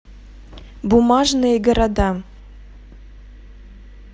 бумажные города